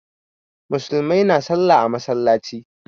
Musulmai na sallah a masallaci.